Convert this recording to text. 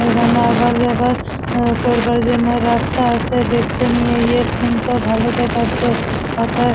এখানে আবার যাবার করবার জন্য রাস্তা আছে দেখতে নিয়ে এই সিন তো ভালো দেখাচ্ছে হোথায়--